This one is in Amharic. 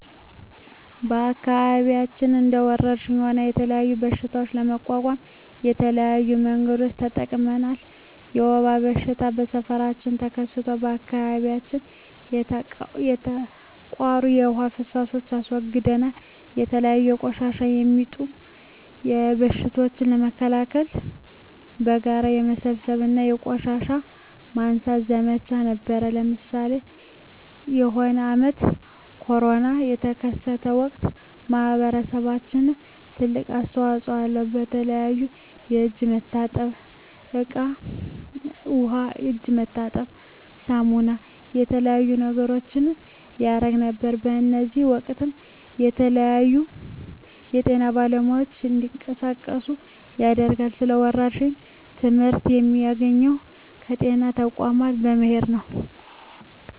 በአከባቢያችን እንደ ወረርሽኝ ሆነ የተለያዩ በሽታዎች ለመቋቋም የተለያዩ መንገዶችን ተጠቅመናል የወባ በሽታ በሠፈራችን ተከስቶ በአካባቢያችን የተቃሩ የዉሃ ፋሳሽ አስወግደናል የተለያዩ በቆሻሻ የሚጡም በሽቶችን ለመከላከል በጋራ በመሠብሰብ የቆሻሻ ማንሳት ዘመቻ ነበረነ ለምሳሌ የሆነ አመት ኮርና የተከሰተ ወቅት ማህበረሰባችን ትልቅ አስተዋጽኦ አለው የተለያዩ የእጅ መታጠብያ እቃ ዉሃ የእጅ መታጠቢያ ሳሙና የተለያዩ ነገሮችን ያረግ ነበር በእዚህም ወቅትም የተለያዩ የጤና ባለሙያዎች እንዲቀሳቀሱ ያደርጋል ስለ ወረርሽኝ ትመህርት የሚያገኘው ከጤና ተቋሞች በመሄድ ነው